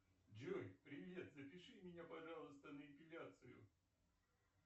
джой привет запиши меня пожалуйста на эпиляцию